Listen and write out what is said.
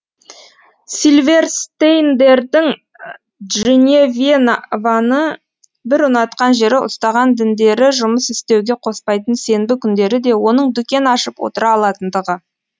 силверстейндердің дженевьеваны бір ұнатқан жері ұстаған діндері жұмыс істеуге қоспайтын сенбі күндері де оның дүкен ашып отыра алатындығы